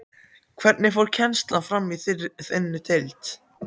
Hvernig fór kennslan fram í þinni deild?